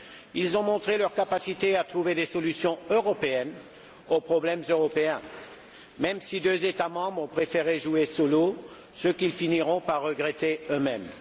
Ils ont montré leur capacité à trouver des solutions européennes aux problèmes européens, même si deux États membres ont préféré jouer solo, ce qu'ils finiront par regretter eux mêmes.